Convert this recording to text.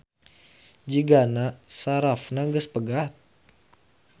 Jigana sarafna geus pegat